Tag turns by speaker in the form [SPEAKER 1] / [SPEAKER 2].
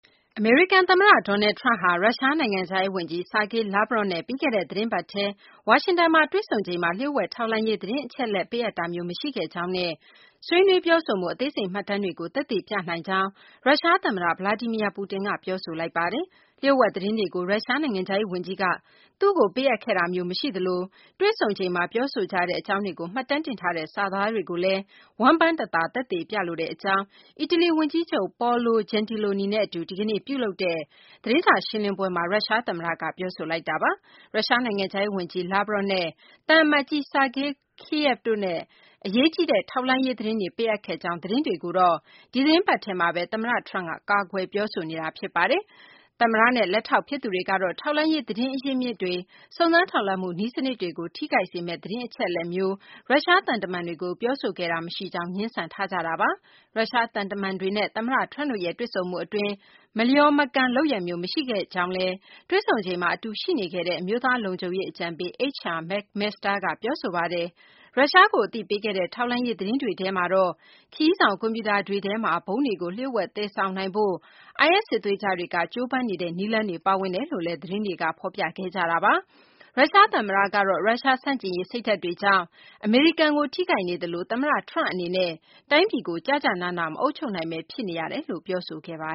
[SPEAKER 1] အမေရိကန်သမ္မတ Donald Trump ဟာ ရုရှားနိုင်ငံခြားရေးဝန်ကြီး Sergei Lavrov နဲ့ ပြီးခဲ့တဲ့ သီတင်းပတ်ထဲ ဝါရှင်တန်မှာ တွေ့ဆုံချိန်မှာ လျို့ဝှက်ထောက်လှမ်းရေး သတင်းအချက်အလက် ပေးအပ်တာမျိုး မရှိခဲ့ကြောင်းနဲ့ ဆွေးနွေးပြောဆိုမှု အသေးစိတ်မှတ်တမ်းတွေကို သက်သေပြနိုင်ကြောင်း ရုရှားသမ္မတ Vladimir Putin က ပြောဆိုလိုက်ပါတယ်။ လျို့ဝှက်သတင်းတွေကို ရုရှားနိုင်ငံခြားရေးဝန်ကြီးက သူ့ကိုပေးအပ်ခဲ့တာမျိုး မရှိသလို၊ တေ့ွဆုံချိန်မှာ ပြောဆိုကြတဲ့ အကြောင်းတွေကို မှတ်တမ်းတင်ထားတဲ့ စာသားတွေကိုလည်း ဝမ်းပမ်းတသာ သက်သေပြလိုတဲ့အကြောင်း အီတလီ ဝန်ကြီးချုပ် Paolo Gentiloni နဲ့အတူ ဒီကနေ့ ပြုလုပ်တဲ့ သတင်းစာ ရှင်းလင်းပွဲမှာ ရုရှားသမ္မတက ပြောဆိုလိုက်တာပါ။ ရုရှားနိုင်ငံခြားရေးဝန်ကြီး Lavrov နဲ့ သံအမတ်ကြီး Sergei Kislyak တို့ကို အရေးကြီးတဲ့ ထောက်လှမ်းရေး သတင်းတွေ ပေးအပ်ခဲ့ကြောင်း သတင်းတွေကိုတော့ ဒီသီတင်းပတ်ထဲမှာပဲ သမ္မတ Trump က ကာကွယ်ပြောဆိုနေတာ ဖြစ်ပါတယ်။ သမ္မတနဲ့ လက်ထောက်ဖြစ်သူတွေကတော့ ထောက်လှမ်းရေး သတင်းအရင်းအမြစ်တွေ၊ စုံစမ်းထောက်လှမ်းမှု နည်းစနစ်တွေကို ထိခိုက်စေမယ့် သတင်းအချက်အလက်မျိုး ရုရှားသံတမန်တွေကို ပြောဆိုခဲ့တာ မရှိကြောင်း ငြင်းဆန်ထားကြတာပါ။ ရုရှားသံတမန်တွေနဲ့ သမ္မတ Trump တို့ရဲ့ တွေ့ဆုံမှုအတွင်း မလျော်မကန်လုပ်ရပ်မျိုး မရှိခဲ့ကြောင်းလည်း တွေ့ဆုံချိန်မှာ အတူရှိနေခဲ့တဲ့ အမျိုးသားလုံခြုံရေးအကြံပေး H.R. McMaster က ပြောဆိုခဲ့ပါတယ်။ ရုရှားကို အသိပေးခဲ့တဲ့ ထောက်လှမ်းရေး သတင်းတွေထဲမှာတော့ ခရီးဆောင်ကွန်ပြူတာတွေထဲမှာ ဗုံးတွေကို လျို့ဝှက်သယ်ဆောင်နိုင်ဖို့ IS စစ်သွေးကြွတွေက ကြိုးပမ်းနေတဲ့ နည်းလမ်းတွေ ပါဝင်တယ်လို့လည်း သတင်းတွေက ဖော်ပြခဲ့ကြတာပါ။ ရုရှားသမ္မတကတော့ ရုရှားဆန့်ကျင်ရေးစိတ်ဓာတ်တွေကြောင့် အမေရိကန်ကို ထိခိုက်နေသလို၊ သမ္မတ Trump အနေနဲ့ တိုင်းပြည်ကို ကျကျနန မအုပ်ချုပ်နိုင်ဘဲ ဖြစ်နေရတယ်လို့လည်း ပြောဆိုခဲ့ပါ